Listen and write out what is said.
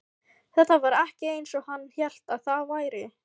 Þetta var ekki eins og hann hélt að það væri.